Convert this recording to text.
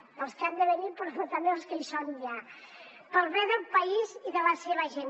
per als que han de venir però també per als que hi són ja pel bé del país i de la seva gent